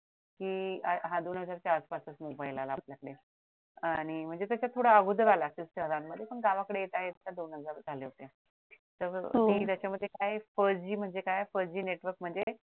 कि हा दोन हजार चार पाच मध्ये मोबाइल आला आणि म्हणजे त्याच्या अगोदर आला असंल शहरांमध्ये मग गावाकडे येत आहेत तर मग त्याच्यामध्ये काय first G म्हणजे काय first G network म्हणजे